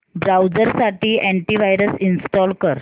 browser साठी anti virus install कर